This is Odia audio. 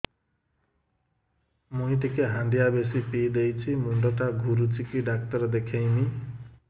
ମୁଇ ଟିକେ ହାଣ୍ଡିଆ ବେଶି ପିଇ ଦେଇଛି ମୁଣ୍ଡ ଟା ଘୁରୁଚି କି ଡାକ୍ତର ଦେଖେଇମି